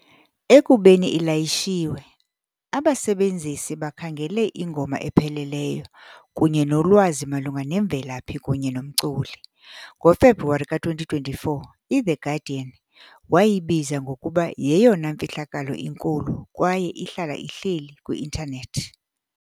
Ekubeni ilayishiwe, abasebenzisi bakhangele ingoma epheleleyo kunye nolwazi malunga nemvelaphi kunye nomculi. NgoFebruwari ka-2024, "iThe Guardian" wayibiza ngokuba "yeyona mfihlakalo inkulu kwaye ihlala ihleli kwi-intanethi".